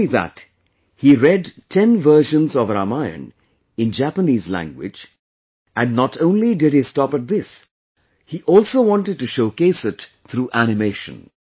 Not only that, he read 10 versions of Ramayana in Japanese language, and not only did he stop at this, he also wanted to showcase it through animation